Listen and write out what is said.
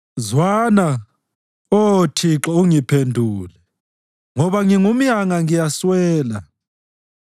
Zwana, Oh Thixo, ungiphendule, ngoba ngingumyanga ngiyaswela.